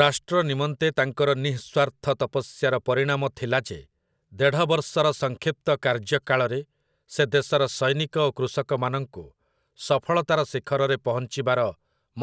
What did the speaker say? ରାଷ୍ଟ୍ର ନିମନ୍ତେ ତାଙ୍କର ନିଃସ୍ୱାର୍ଥ ତପସ୍ୟାର ପରିଣାମ ଥିଲା ଯେ ଦେଢ଼ବର୍ଷର ସଂକ୍ଷିପ୍ତ କାର୍ଯ୍ୟକାଳରେ ସେ ଦେଶର ସୈନିକ ଓ କୃଷକମାନଙ୍କୁ ସଫଳତାର ଶିଖରରେ ପହଞ୍ଚିବାର